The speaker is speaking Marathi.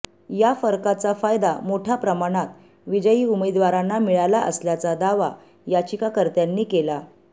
या फरकाचा फायदा मोठ्या प्रमाणात विजयी उमेदवारांना मिळाला असल्याचा दावा याचिकाकर्त्यांनी केला